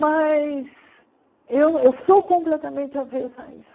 Mas eu eu sou completamente avesa a isso.